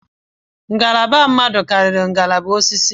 Ngalaba mmadụ karịrị ngalaba osisi